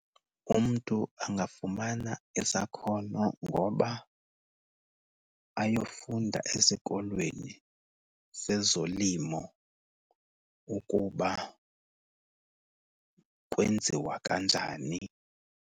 Umntu angafumana isakhono ngoba ayofunda esikolweni sezolimo ukuba kwenziwa kanjani.